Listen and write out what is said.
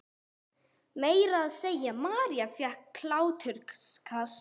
Meira að segja María fékk hláturskast.